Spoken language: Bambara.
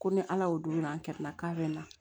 Ko ni ala y'o don an kɛrɛfɛla k'a bɛ na